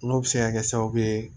N'o bɛ se ka kɛ sababu ye